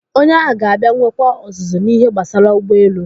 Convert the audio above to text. Onye ahụ ga-abịa nwekwa ọzụzụ n'ihe gbasara ụgbọelu.